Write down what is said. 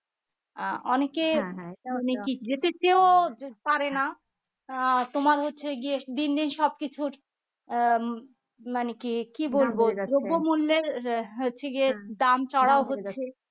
আহ অনেকে যেতে চেয়েও পারেনা আহ তোমার হচ্ছে গিয়ে দিন দিন সবকিছুর আহ মানে কি কি বলবো দ্রব্যমূল্যর হচ্ছে গিয়ে দাম চড়া হচ্ছে